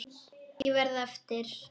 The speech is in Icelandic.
Ég verð eftir.